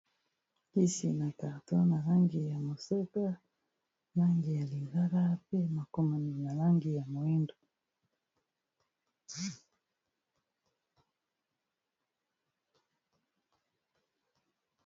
Kisi na carton na langi ya mosaka, langi ya lilala, pe makomami na langi ya moyindo.